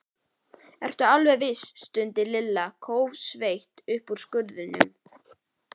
Ertu alveg viss? stundi Lilla kófsveitt upp úr skurðinum.